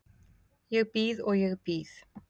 Ég bíð og ég bíð.